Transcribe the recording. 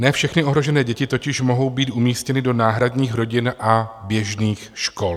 Ne všechny ohrožené děti totiž mohou být umístěny do náhradních rodin a běžných škol.